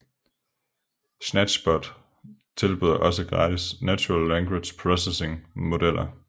SnatchBot tilbyder også gratis Natural Language Processing modeller